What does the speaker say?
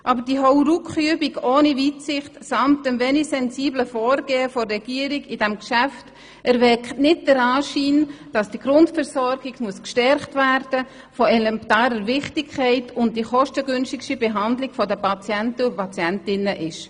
Aber diese Hauruckübung ohne Weitsicht und das wenig sensible Vorgehen der Regierung in diesem Geschäft, erweckt nicht den Anschein, dass die Grundversorgung gestärkt werden muss, von elementarer Wichtigkeit ist und die kostengünstigste Behandlung von Patientinnen und Patienten darstellt.